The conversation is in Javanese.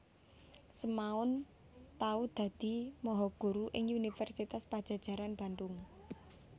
Semaun tau dadi mahaguru ing Universitas Padjajaran Bandhung